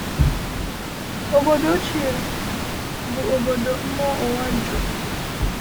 Obodo ochie bụ obodo mmụọ ụwa juru.